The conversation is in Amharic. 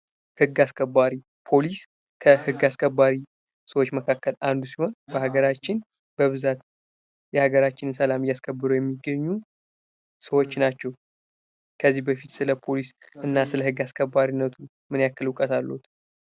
ህግ አስከባሪ ፖሊስ ከህግ አስከባሪ ሰዎች መካከል አንዱ ሲሆን በሀገራችን በብዛት የሀገራችን ሰላም እያስከብሩ የሚገኙ ሰዎች ናቸው። ከዚህ በፊት ስለ ፖሊስ እና ስለህግ አስከባሪነቱ ምን ያክል እውቀት አሎት?